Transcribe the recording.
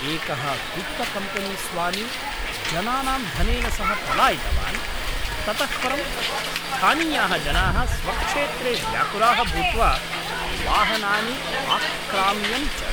एकः वित्तकम्पेनीस्वामी जनानां धनेन सह पलायितवान्, ततः परं स्थानीयाः जनाः स्वक्षेत्रे व्याकुलाः भूत्वा वाहनानि आक्राम्यन् च।